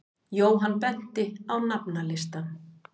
Jóhann benti á nafnalistann.